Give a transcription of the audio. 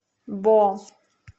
бо